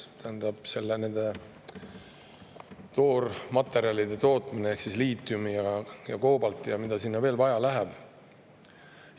just nende toormaterjalide ehk liitiumi ja koobalti tootmist ja mida kõike sinna veel vaja läheb.